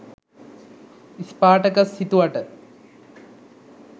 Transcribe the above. Spartacus හිතුවට